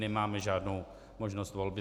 Nemáme žádnou možnost volby.